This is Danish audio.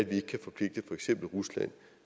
vi ikke kan forpligte for eksempel rusland